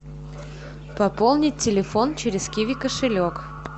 пополнить телефон через киви кошелек